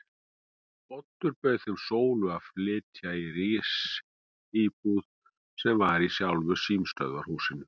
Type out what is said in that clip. Oddur bauð þeim Sólu að flytja í risíbúð sem var í sjálfu símstöðvarhúsinu.